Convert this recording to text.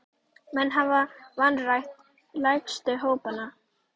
Menn hafa vanrækt lægstu hópana.